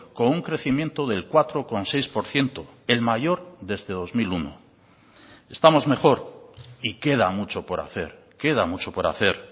con un crecimiento del cuatro coma seis por ciento el mayor desde dos mil uno estamos mejor y queda mucho por hacer queda mucho por hacer